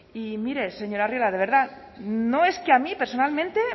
y mire señor arriola de verdad no es que a mí personalmente